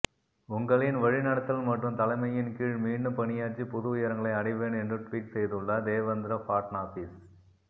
உங்களின் வழிநடத்தல் மற்றும் தலைமையின் கீழ் மீண்டும் பணியாற்றி புது உயரங்களை அடைவேன் என்று ட்வீட் செய்துள்ளார் தேவேந்திர ஃபட்னாவிஸ்